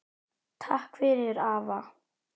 Takk fyrir afa.